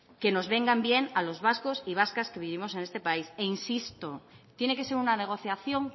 que nos vengan bien a los vascos y vascas que vivimos en este país e insisto tiene que ser una negociación